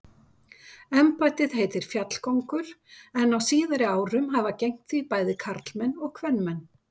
Embættið heitir fjallkóngur en á síðari árum hafa gegnt því bæði karlmenn og kvenmenn.